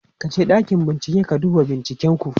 ka je ɗakin bincike ka duba binciken ku!